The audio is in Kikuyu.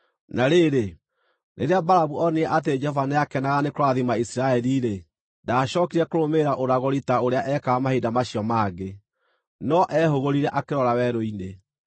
Na rĩrĩ, rĩrĩa Balamu onire atĩ Jehova nĩakenaga nĩ kũrathima Isiraeli-rĩ, ndaacookire kũrũmĩrĩra ũragũri ta ũrĩa ekaga mahinda macio mangĩ, no ehũgũrire akĩrora werũ-inĩ.